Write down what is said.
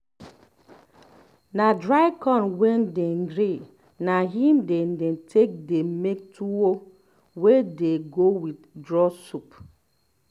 na dry corn wey dey grind na im dey dem take dey make tuwo wey dey um go with draw soup